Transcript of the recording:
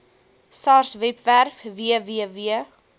sars webwerf www